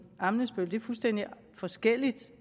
ammitzbøll så er fuldstændig forskelligt